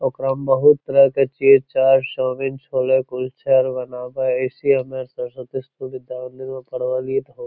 ओकरा में बहुत तरह के चीज छै कुछ बनावे हेय ऐसी ये --